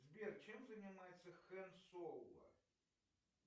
сбер чем занимается хан соло